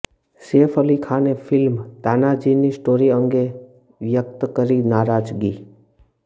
સૈફ અલી ખાને ફિલ્મ તાનાજીની સ્ટોરી અંગે વ્યક્ત કરી નારાજગી